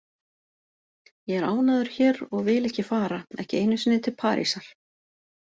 Ég er ánægður hér og vil ekki fara, ekki einu sinni til Parísar.